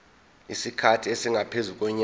isikhathi esingaphezu konyaka